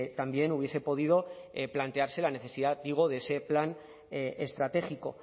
también hubiese podido plantearse la necesidad digo de ese plan estratégico